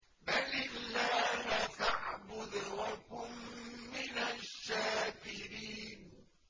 بَلِ اللَّهَ فَاعْبُدْ وَكُن مِّنَ الشَّاكِرِينَ